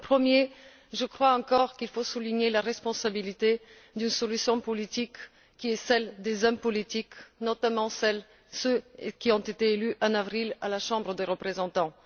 S'agissant du premier point, je crois encore qu'il faut souligner la responsabilité d'une solution politique, qui est celle des hommes politiques, notamment ceux qui ont été élus en avril, à la Chambre des représentants.